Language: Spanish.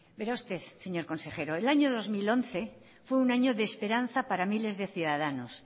vera usted señor consejero el año dos mil once fue un año de esperanza para miles de ciudadanos